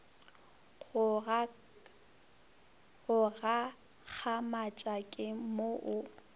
go gakgamatša ke mo o